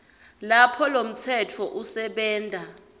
lapho lomtsetfo usebenta